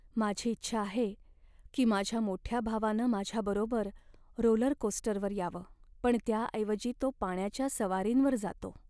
माझी इच्छा आहे की माझ्या मोठ्या भावानं माझ्याबरोबर रोलरकोस्टरवर यावं. पण त्याऐवजी तो पाण्याच्या सवारींवर जातो.